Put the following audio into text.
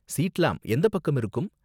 சீட்லாம் எந்த பக்கம் இருக்கும்?